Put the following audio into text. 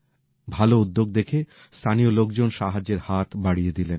ভালো উদ্যোগ দেখে স্থানীয় লোকজন সাহায্যের হাত বাড়িয়ে দিলেন